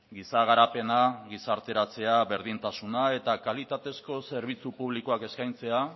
giza garapena gizarteratzea berdintasuna eta kalitatezko zerbitzu publikoak eskaintzea